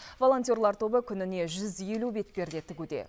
волонтерлар тобы күніне жүз елу бетперде тігуде